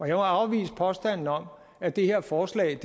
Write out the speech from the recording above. jeg må afvise påstanden om at det her forslag